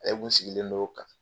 sigilen non kan.